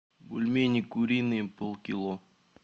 бульмени куриные полкило